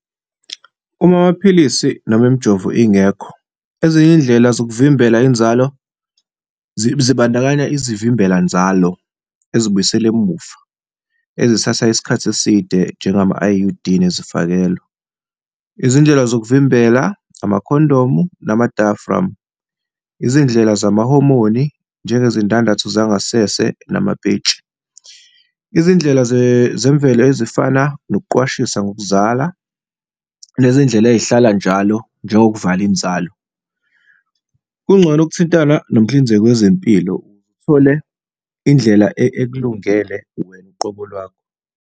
Uma amaphilisi noma imijovo ingekho, ezinye izindlela zokuvimbela inzalo zibandakanya izivimbelanzalo, ezibuyisela emuva, ezithatha isikhathi eside, njengama-I_U_D nezifakelo. Izindlela zokuvimbela, amakhondomu nama-diaphragm, izindlela zamahomoni, njengezindandatho zangasese namapentshi. Izindlela zemvelo ezifana nokuqwashisa ngokuzala nezindlela ey'hlala njalo, njengokuvala inzalo. Kungcono ukuthintana nomhlinzeki wezempilo, uthole indlela ekulungele wena uqobo lwakho.